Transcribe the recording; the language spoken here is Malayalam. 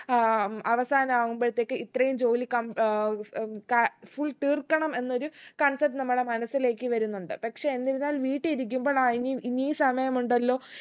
ആഹ് ഉം അവസാനാവുമ്പോഴത്തേക്ക് ഇത്രയും ജോലി കം ഏർ ഉം കം full തീർക്കണം എന്നൊരു concept നമ്മളെ മനസ്സിലേക്ക് വരുന്നുണ്ട് പക്ഷെ എന്തിര്ന്നാൽ വീട്ടി ഇരിക്കുമ്പോളാ ആ ഇനിയു ഇനിയും സമയമുണ്ടല്ലോ